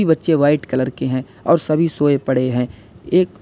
बच्चे white colour के हैं और सभी सोए पड़े हैं एक--